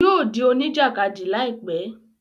Yóò dí oníjàkádì láìpẹ́